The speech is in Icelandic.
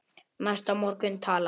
Næsta morgun talaði